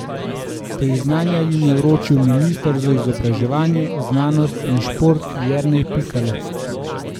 Priznanja jim je vročil minister za izobraževanje, znanost in šport Jernej Pikalo.